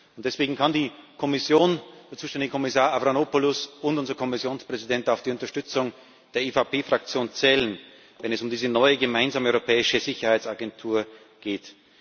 Und deswegen kann die Kommission der zuständige Kommissar Avramopoulos und unser Kommissionspräsident auf die Unterstützung der EVP Fraktion zählen, wenn es um diese neue gemeinsame europäische Sicherheitsagentur geht.